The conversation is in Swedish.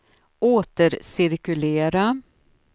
återcirkulera